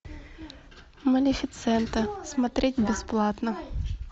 малефисента смотреть бесплатно